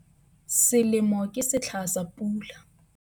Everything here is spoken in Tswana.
Selemo ke setlha sa pula.